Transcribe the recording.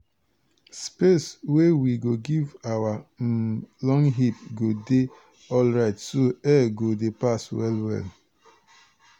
space wey we go give our um long heap go dey alrite so air go dey pass well well.